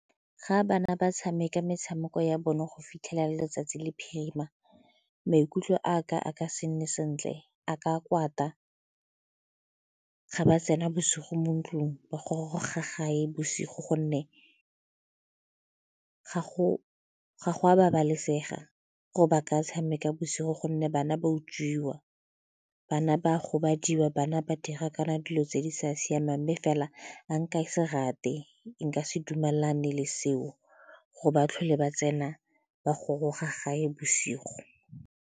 Ga bana ba tshameka metshameko ya bone go fitlhela le letsatsi le phirima, maikutlo a ka a ka se nne sentle a ka kwata ga ba tsena bosigo mo ntlung ba goroga gae bosigo gonne ga go a babalesega gore ba ka tshameka bosigo gonne bana ba utswiwa, bana ba robadiwa bana ba dira kana dilo tse di sa siamang mme fela a nka se rate nka se dumelane le seo ga ba tlhole ba tsena ba goroga gae bosigo.